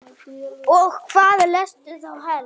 Og hvað lestu þá helst?